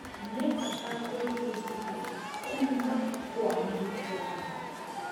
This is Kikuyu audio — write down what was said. Nĩ bata gwĩbundithia kuuma kwa mahĩtia maitũ.